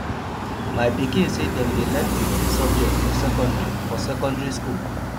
my pikin sey dem dey learn fifteen subject for secondary for secondary skool